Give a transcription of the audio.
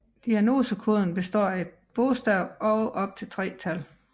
Diagnosekoden består af ét bogstav og op til tre tal